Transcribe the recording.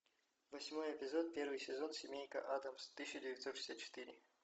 восьмой эпизод первый сезон семейка адамс тысяча девятьсот шестьдесят четыре